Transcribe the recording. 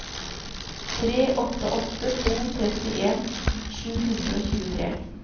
tre åtte åtte to trettien sju hundre og tjuetre